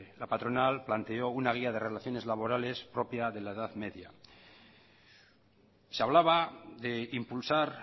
la patronal planteó una guía de relaciones laborales propia de la edad media se hablaba de impulsar